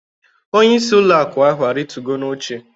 Onyeisi ụlọ akụ ahụ arịtugo n'oche